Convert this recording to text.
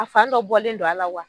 A fan dɔ bɔlen don a la wa?